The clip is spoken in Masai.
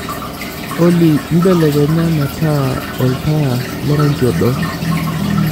olly belekenya metaa olntaa lo rangi odo